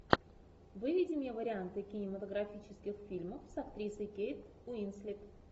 выведи мне варианты кинематографических фильмов с актрисой кейт уинслет